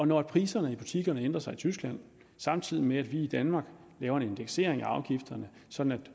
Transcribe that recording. når priserne i butikkerne ændrer sig i tyskland samtidig med at vi i danmark laver en indeksering af afgifterne sådan at